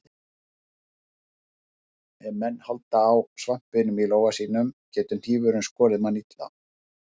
Ef menn halda á svampinum í lófanum getur hnífurinn skorið mann illa.